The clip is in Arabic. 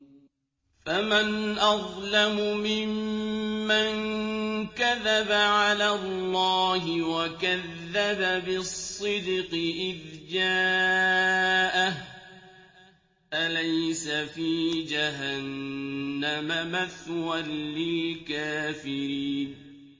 ۞ فَمَنْ أَظْلَمُ مِمَّن كَذَبَ عَلَى اللَّهِ وَكَذَّبَ بِالصِّدْقِ إِذْ جَاءَهُ ۚ أَلَيْسَ فِي جَهَنَّمَ مَثْوًى لِّلْكَافِرِينَ